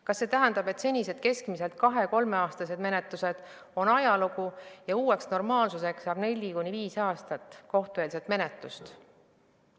Kas see tähendab, et senised keskmiselt 2–3 aastat kestnud menetlused on ajalugu ja uueks normaalsuseks saab 4–5 aastat kohtueelset menetlust?